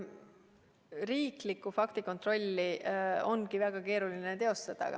Riiklikku faktikontrolli ongi väga keeruline teostada.